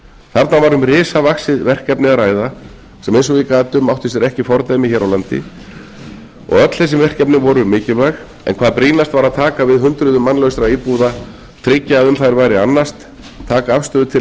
þarna var um risavaxið verkefni að ræða sem eins og ég gat um átti sér ekki fordæmi hér á landi og öll þessi verkefni voru mikilvæg en hvað brýnast var að taka við hundruðum mannlausra íbúða tryggja að um þær væri annast taka afstöðu til